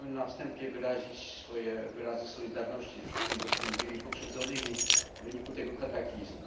Chciałbym na wstępie wyrazić swoje wyrazy solidarności z wszystkimi dotkniętymi, pokrzywdzonymi w wyniku tego kataklizmu.